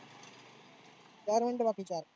चार minute बाकी आहे चार.